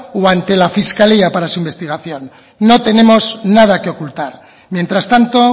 o ante la fiscalía para su investigación no tenemos nada que ocultar mientras tanto